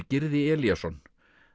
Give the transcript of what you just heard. Gyrði Elíasson